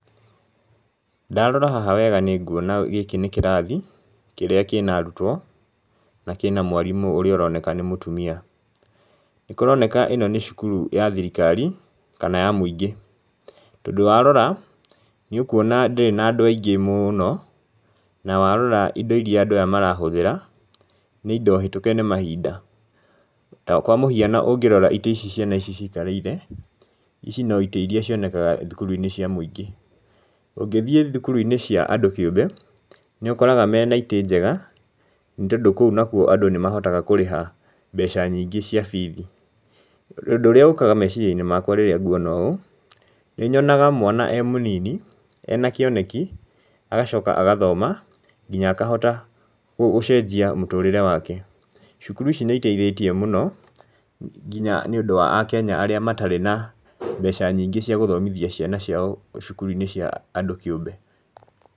Ndarora haha wega nĩnguona gĩkĩ nĩ kĩrathi, kĩrĩa kĩna arutwo, na kĩna mwarimũ ũrĩa ũroneka nĩ mũtumia. Nĩ kũroneka ĩno nĩ cukuru ya thirikari kana ya mũingĩ, tondũ warora, nĩ ũkwona ndĩrĩ na andũ aingĩ mũno, na warora indo iria andũ aya marahũthĩra, nĩ indo hĩtũke nĩ mahinda, kwa mũhiano ũngĩrora itĩ ici ciana ici cikarĩire, ici no itĩ iria cionekaga thukuru-inĩ cia mũingĩ, ũngĩthiĩ thukuru-inĩ cia andũ kĩũmbe, nĩ ũkoraga mena itĩ njega, nĩ tondũ kũu nakuo andũ nĩ mahotaga kũrĩha mbeca yingĩ cia bithi. Ũndũ ũrĩa ũkaga meciria-inĩ makwa rĩrĩa nguona ũũ, nĩ nyonaga mwana e mũnini ena kĩoneki, agacoka agathoma, nginya akahota gũcenjia mũtũrĩre wake. Cukuru ici nĩ iteithĩtie mũno, nginya nĩ ũndũ wa Akenya arĩa matarĩ na mbeca nyingĩ cia gũthomithia ciana ciao cukuru-inĩ cia andũ kĩũmbe.